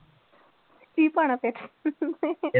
ਕੀ ਪਾਉਣਾ ਫਿਰ